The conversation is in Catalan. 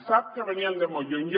sap que veníem de molt lluny